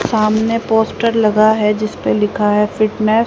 सामने पोस्टर लगा है जिसपे लिखा है फिटनेस ।